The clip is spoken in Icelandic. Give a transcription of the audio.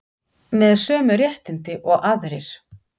Með sömu réttindi og aðrir